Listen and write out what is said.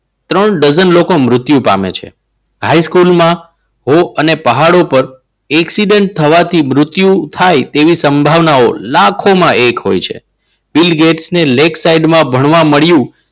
ત્રણ ડજન લોકો મૃત્યુ પામે છે. હાઈસ્કૂલમાં અને પહાડો પર એકસીડન્ટ થવાથી મૃત્યુ થાય તેવી સંભાવનાઓ લાખોમાં એક હોય છે. બિલ ગેટ્સને lake site માં ભણવા મળ્યું.